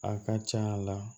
A ka ca la